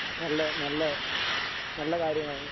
നല്ല നല്ല നല്ല കാര്യമാണ്.